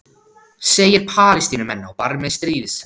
Segir Palestínumenn á barmi stríðs